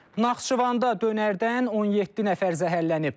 Naxçıvanda dönərdən 17 nəfər zəhərlənib.